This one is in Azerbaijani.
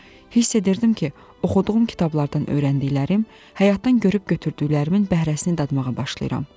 Hiss edirdim ki, oxuduğum kitablardan öyrəndiklərim, həyatdan görüb götürdüklərimin bəhrəsini dadmağa başlayıram.